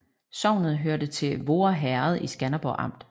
Sognet hørte til Voer Herred i Skanderborg Amt